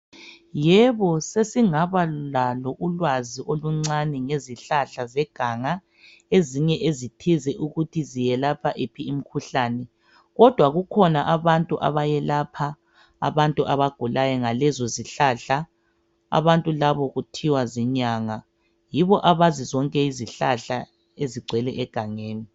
Yebo sesingaba lalo ulwazi oluncani ngezihlahla zeganga ezinye ezithize ukuthi ziyelapha iphi imkhuhlane kodwa kukhona abantu abayelapha abantu abagulayo ngalezo zihlahla abantu labo kuthiwa zinyanga yibo abazi zonke izihlahla ezingcwele egangeni